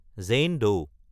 Zain ডৌ